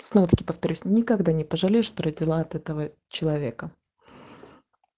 повторюсь никогда не пожалеешь что родила от этого человека